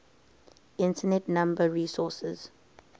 internet number resources